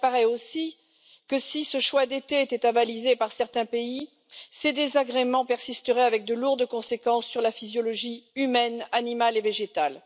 Il apparaît aussi que si ce choix d'été était avalisé par certains pays, ces désagréments persisteraient avec de lourdes conséquences sur la physiologie humaine, animale et végétale.